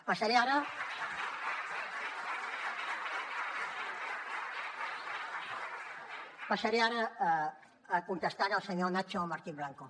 passaré ara a contestar al senyor nacho martín blanco